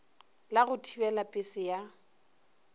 la go thibela pese ya